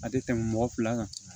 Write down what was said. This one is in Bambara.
A tɛ tɛmɛ mɔgɔ fila kan